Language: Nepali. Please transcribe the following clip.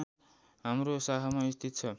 हाम्रो शाखामा स्थित छ